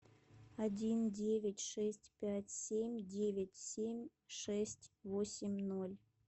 один девять шесть пять семь девять семь шесть восемь ноль